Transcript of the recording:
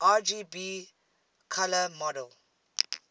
rgb color model